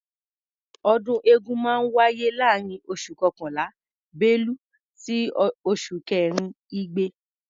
Ọdún eégún máa ń wáyé láàárín oṣù kọkànlá(bélú) sí oṣù kẹrin (igbe).